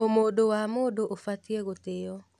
Ũmũndũ wa mũndũ ũbatiĩ gũtĩo.